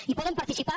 hi poden participar